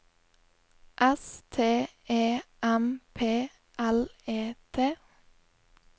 S T E M P L E T